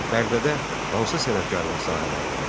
Bərdədə hansı sənətkarlıq sahələri vardı?